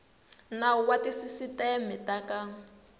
nawu wa tisisiteme ta ka